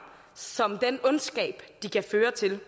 som den ondskab de kan føre til